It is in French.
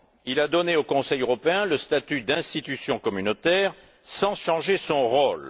Il a donné au Conseil européen le statut d'institution communautaire sans changer son rôle.